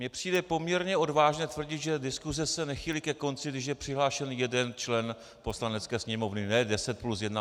Mně přijde poměrně odvážné tvrdit, že diskuze se nechýlí ke konci, když je přihlášen jeden člen Poslanecké sněmovny.